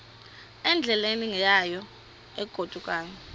endleleni yayo egodukayo